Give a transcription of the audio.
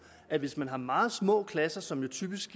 at hvis man har meget små klasser som der typisk